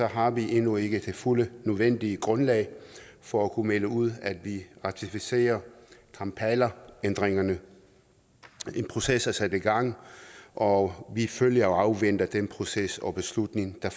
har vi endnu ikke det fulde nødvendige grundlag for at kunne melde ud at vi ratificerer kampalaændringerne en proces er sat i gang og vi følger og afventer den proces og beslutning der